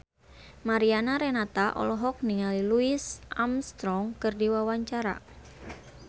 Mariana Renata olohok ningali Louis Armstrong keur diwawancara